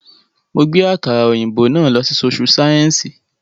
Mo gbé àkàrà òyìnbó náà lọ sí sóṣú sáyẹ́ǹsì